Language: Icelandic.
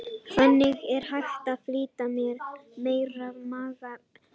Þannig er hægt að flytja meira magn upplýsinga.